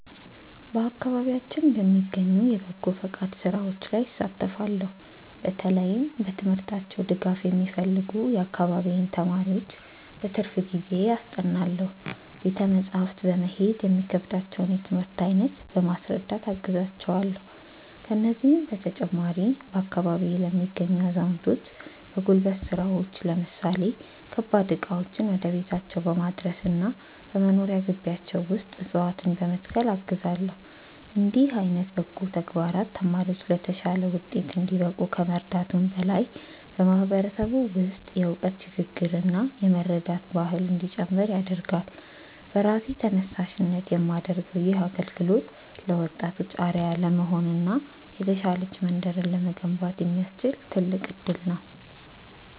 በአካባቢያችን በሚገኙ የበጎ ፈቃድ ሥራዎች ላይ እሳተፋለው። በተለይም በትምህርታቸው ድጋፍ የሚፈልጉ የአካባቢዬን ተማሪዎች በትርፍ ጊዜዬ አስጠናለው። ቤተ መጻሕፍት በመሄድ የሚከብዳቸውን የትምህርት አይነት በማስረዳት አግዛቸዋለው። ከዚህም በተጨማሪ፣ በአካባቢዬ ለሚገኙ አዛውንቶች በጉልበት ሥራዎች ለምሳሌ ከባድ ዕቃዎችን ወደ ቤታቸው በማድረስና በመኖሪያ ግቢያቸው ውስጥ ዕፅዋትነ በመትከል አግዛለው። እንዲህ ዓይነት በጎ ተግባራት ተማሪዎች ለተሻለ ውጤት እንዲበቁ ከመርዳቱም በላይ፣ በማህበረሰቡ ውስጥ የእውቀት ሽግ ግርና የመረዳዳት ባህል እንዲጨምር ያደርጋል። በራሴ ተነሳሽነት የማደርገው ይህ አገልግሎት ለወጣቶች አርአያ ለመሆንና የተሻለች መንደርን ለመገንባት የሚያስችል ትልቅ እድል ነው።